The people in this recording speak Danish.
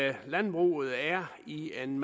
at landbruget er i en